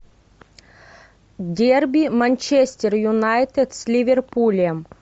дерби манчестер юнайтед с ливерпулем